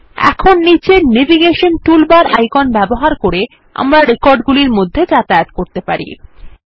এখন নীচের navigation toolbar icon ব্যবহার করে আমরা রেকর্ড গুলির মধ্যে যাতায়াত করতে পারি